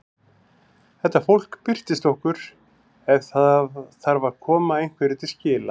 Þetta fólk birtist okkur ef það þarf að koma einhverju til skila.